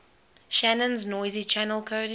shannon's noisy channel coding